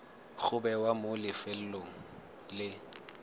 go bewa mo lefelong le